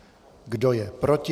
Kdo je proti?